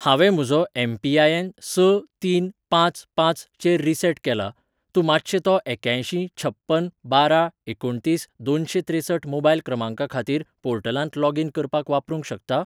हांवें म्हजो एम.पी.आय.एन. स तीन पांच पांच चेर रीसेट केला, तूं मातशें तो एक्यांयशीं छप्पन बारा एकुणतीस दोनशें त्रेसठ मोबायल क्रमांका खातीर पोर्टलांत लॉगीन करपाक वापरूंक शकता?